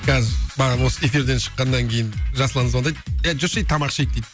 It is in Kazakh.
қазір осы эфирден шыққаннан кейін жасұлан звондайды е жүрші ей тамақ ішейік дейді